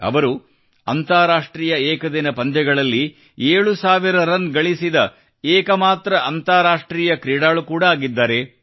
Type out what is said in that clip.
ಅವರು ಅಂತಾರಾಷ್ಟ್ರೀಯ ಏಕದಿನ ಪಂದ್ಯಗಳಲ್ಲಿ 7000 ರನ್ ಗಳಿಸಿದ ಏಕಮಾತ್ರ ಅಂತಾರಾಷ್ಟ್ರೀಯ ಕ್ರೀಡಾಳು ಕೂಡಾ ಆಗಿದ್ದಾರೆ